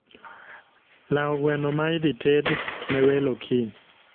Lao gweno ma idhi ted ne welo kiny